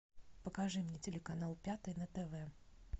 покажи мне телеканал пятый на тв